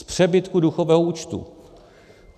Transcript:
Z přebytku důchodového účtu!